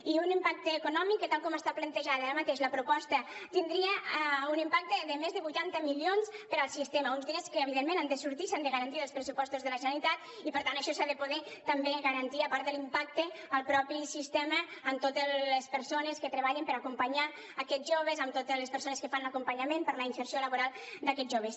i un impacte econòmic que tal com està plantejada ara mateix la proposta tindria un impacte de més de vuitanta milions per al sistema uns diners que evidentment han de sortir s’han de garantir dels pressupostos de la generalitat i per tant això s’ha de poder també garantir a part de l’impacte en el mateix sistema en totes les persones que treballen per acompanyar aquests joves en totes les persones que fan l’acompanyament per a la inserció laboral d’aquests joves